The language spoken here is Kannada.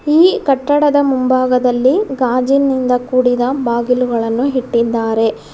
ಈ ಕಟ್ಟಡದ ಮುಂಭಾಗದಲ್ಲಿ ಗಾಜಿನಿಂದ ಕೂಡಿದ ಬಾಗಿಲುಗಳನ್ನು ಇಟ್ಟಿದ್ದಾರೆ.